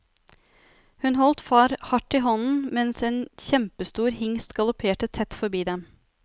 Hun holdt far hardt i hånden mens en kjempestor hingst galopperte tett forbi dem.